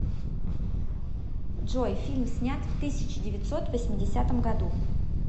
джой фильм снят в тысяча девятьсот восьмидесятом году